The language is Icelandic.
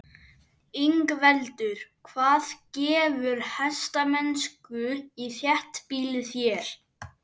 Ingveldur: Hvað gefur hestamennsku í þéttbýli þér?